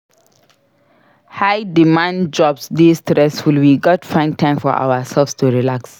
High-demand jobs dey stressful; we gats find time for ourselves to relax.